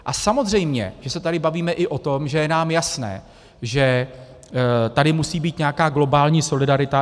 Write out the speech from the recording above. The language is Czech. A samozřejmě že se tady bavíme i o tom, že je nám jasné, že tady musí být nějaká globální solidarita.